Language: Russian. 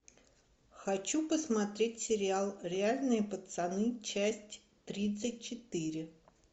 хочу посмотреть сериал реальные пацаны часть тридцать четыре